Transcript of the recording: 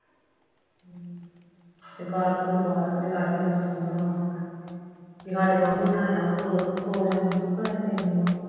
ਤੇ ਘਰ ਘੁਰ ਲਾਡੀ ਕਹਿੰਦਾ ਸੋਹਣਾ ਵਾ, ਬਈ ਸਾਡੇ ਵਾਂਗੂ ਈ ਬਣਾਇਆ ਵਾ ਦੋ ਦੋ ਮੰਜ਼ਲੀ ਪਤਾ ਨਹੀਂ ਤਿੰਨ ਵਾ